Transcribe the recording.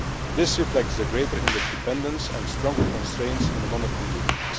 This reflects the greater interdependence and stronger constraints in the monetary union.